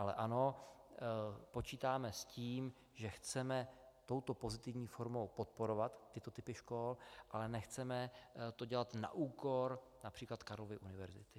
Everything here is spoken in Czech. Ale ano, počítáme s tím, že chceme touto pozitivní formou podporovat tyto typy škol, ale nechceme to dělat na úkor například Karlovy univerzity.